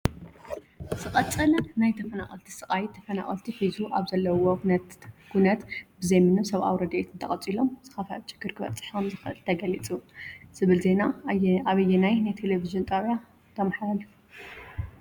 ዝቀፀለ ናይ ተፈናቀልቲ ስቃይ ተፈናቀልቲ ሒዚ ኣብ ዘለውዎ ኩነት ብዘይምንም ሰብኣዊ ረዲኤት እንተቀፂሎም ዝከፈአ ችግር ክበፅሕ ከምዝክእል ተገሊፁ። ዝብል ዜና ኣበየናይ ናይ ቴሌቭን ጣብያ ተመሓላሊፉ?